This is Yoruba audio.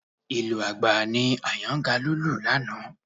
Ìlù àgbá ni Àyàngalú lù lánàá